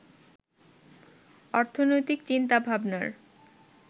অর্থনৈতিক চিন্তাভাবনার